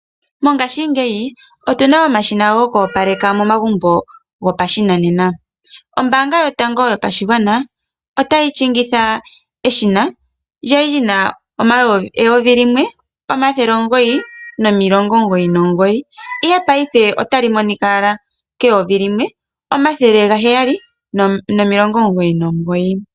Mongashi ngeyi, otuna omashina goku opaleka momagumbo gopashinanena. Ombanga yotango yopashigwana ota yi shingitha eshina lyali li na 1999 ihe paife otali monika ala 1799.